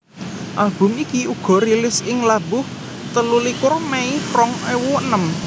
Album iki uga rilis ing labuh telulikur Mei rong ewu enem